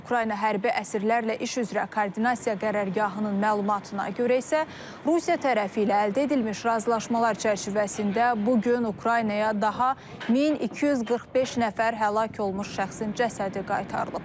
Ukrayna hərbi əsirlərlə iş üzrə koordinasiya qərargahının məlumatına görə isə Rusiya tərəfi ilə əldə edilmiş razılaşmalar çərçivəsində bu gün Ukraynaya daha 1245 nəfər həlak olmuş şəxsin cəsədi qaytarılıb.